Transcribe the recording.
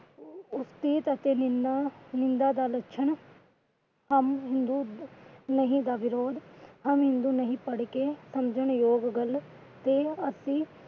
ਅਤੇ ਨਿੰਦਾ ਦਾ ਲੱਛਣ। ਹਮ ਹਿੰਦੂ ਨਹੀ ਦਾ ਵਿਰੋਧ ਹਿੰਦੂ ਨਹੀਂ ਪੜ੍ਹ ਕੇ ਸਮਝਣ ਯੋਗ ਗੱਲ ਤੇ